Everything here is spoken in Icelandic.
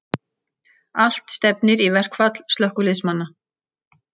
Allt stefnir í verkfall slökkviliðsmanna